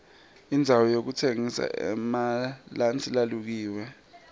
indzawo yokutsengisa emalansi lalukiwe